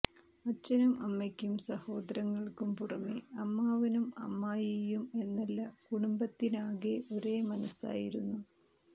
അച്ഛനും അമ്മയ്ക്കും സഹോദരങ്ങള്ക്കും പുറമേ അമ്മാവനും അമ്മായിയും എന്നല്ല കുടുംബത്തിനാകെ ഒരേ മനസ്സായിരുന്നു